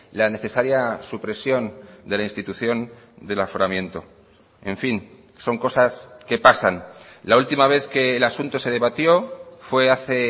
la necesaria supresión de la institución del aforamiento en fin son cosas que pasan la última vez que el asunto se debatió fue hace